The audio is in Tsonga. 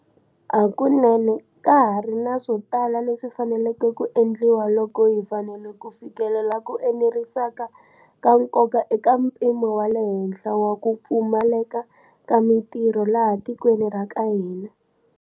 Hakunene, ka ha ri na swo tala leswi faneleke ku endliwa loko hi fanele ku fikelela ku eneriseka ka nkoka eka mpimo wa le henhla wa ku pfumaleka ka mitirho laha tikweni ra ka hina.